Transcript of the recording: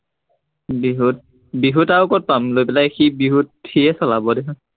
বিহুত, বিহুত আৰু কত পাম, লৈ পেলাই সি বিহুত, সিয়ে চলাব দেখোন